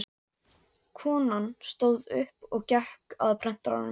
Konan stóð upp og gekk að prentaranum.